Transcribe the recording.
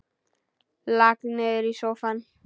Lak niður í sófann.